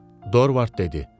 Dorvard dedi.